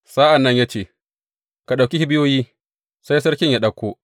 Sa’an nan ya ce, Ka ɗauki kibiyoyi, sai sarkin ya ɗauko.